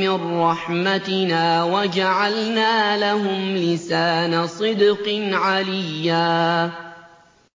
مِّن رَّحْمَتِنَا وَجَعَلْنَا لَهُمْ لِسَانَ صِدْقٍ عَلِيًّا